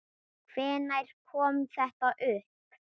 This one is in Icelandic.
Hvenær kom þetta upp?